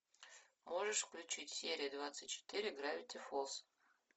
можешь включить серия двадцать четыре гравити фолз